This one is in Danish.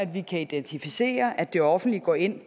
vi kan identificere at det offentlige går ind